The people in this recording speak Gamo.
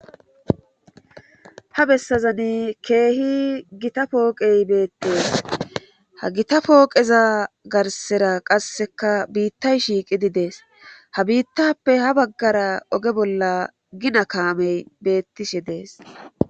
Ha bessazani keehi gita pooqey beettees ha gita pooqeza garsera qasseka biittay shiiqidi dees ha biittappe ha baggara oge bolla gina kaamey bettishe dees.